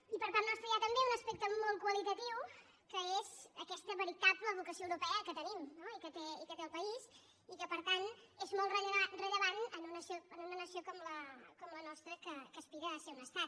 i per part nostra hi ha també un aspecte molt qualitatiu que és aquesta veritable vocació europea que tenim no i que té el país i que per tant és molt rellevant en una nació com la nostra que aspira a ser un estat